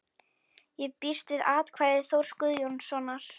Ég býst við að atkvæði Þórs Guðjónssonar í